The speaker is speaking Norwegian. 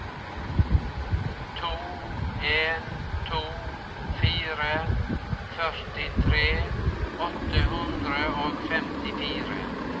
to en to fire førtitre åtte hundre og femtifire